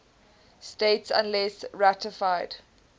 states unless ratified